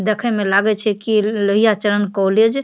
देखे में लागे छे कि लोईया चरण कॉलेज ।